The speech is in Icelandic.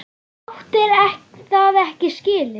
Þú áttir það ekki skilið.